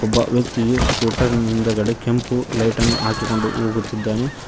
ಒಬ್ಬ ವ್ಯಕ್ತಿಯು ಸ್ಕೂಟರ್ ನ ಹಿಂದಗಡೆ ಕೆಂಪು ಲೈಟ್ ಅನ್ನು ಹಾಕಿಕೊಂಡು ಹೋಗುತ್ತಿದ್ದಾನೆ.